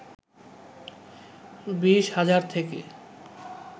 ২০ হাজার থেকে